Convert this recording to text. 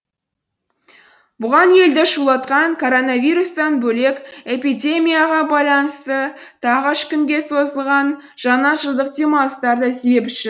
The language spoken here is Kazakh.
бұған елді шулатқан коронавирустан бөлек эпидемияға байланысты тағы үш күнге созылған жаңа жылдық демалыстар да себепші